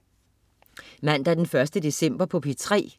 Mandag den 1. december - P3: